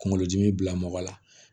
Kunkolodimi bila mɔgɔ la